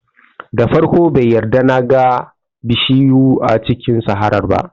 Da farko bai yarda na ga bishiyu a cikin saharar ba